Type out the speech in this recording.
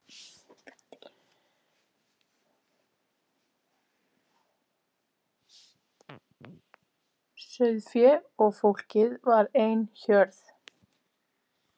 Sauðféð og fólkið var ein hjörð.